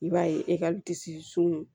I b'a ye ekɔli disi sun